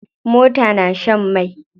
Mota na shan mai.